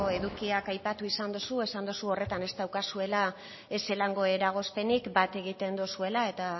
edukiak aipatu izan duzu esan duzu horretan ez daukazuela ezelango eragozpenik bat egiten duzuela eta